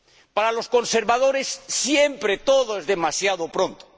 Para los conservadores siempre todo es demasiado pronto.